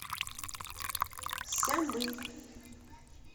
сямынь